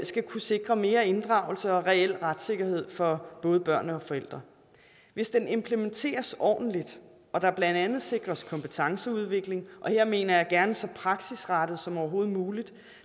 kunne sikre mere inddragelse og reel retssikkerhed for både børn og forældre hvis den implementeres ordentligt og der blandt andet sikres kompetenceudvikling og her mener jeg gerne så praksisrettet som overhovedet muligt